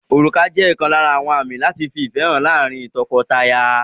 Orùkà jẹ́ ọ̀kan lára àmì láti fi ìfẹ́ hàn láàárín lọ́kọ-láya.